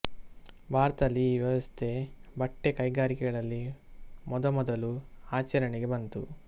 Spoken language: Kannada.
ಭಾರತದಲ್ಲಿ ಈ ವ್ಯವಸ್ಥೆ ಬಟ್ಟೆ ಕೈಗಾರಿಕೆಗಳಲ್ಲಿ ಮೊದಮೊದಲು ಆಚರಣೆಗೆ ಬಂತು